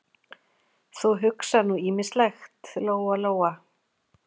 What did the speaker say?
Þú hugsar nú ýmislegt, Lóa-Lóa.